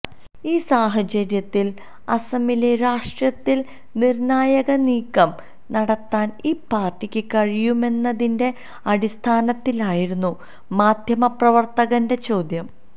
ഈ സാഹചര്യത്തില് അസമിലെ രാഷ്ട്രീയത്തില് നിര്ണായനീക്കം നടത്താന് ഈ പാര്ട്ടിക്ക് കഴിയുമെന്നതിന്റെ അടിസ്ഥാനത്തിലായിരുന്നു മാധ്യമ പ്രവര്ത്തകന്റെ ചോദ്യം